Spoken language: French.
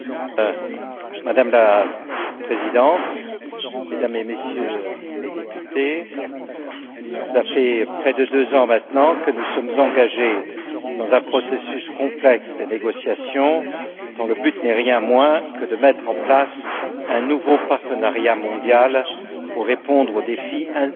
Madame la Présidente, Mesdames et Messieurs les Députés, cela fait près de deux ans maintenant que nous sommes engagés dans un processus complexe de négociations dont le but n'est rien de moins que de mettre en place un nouveau partenariat mondial pour répondre au défi indissociable